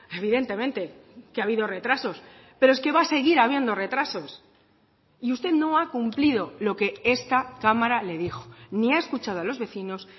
evidentemente que ha habido retrasos pero es que va a seguir habiendo retrasos y usted no ha cumplido lo que esta cámara le dijo ni ha escuchado a los vecinos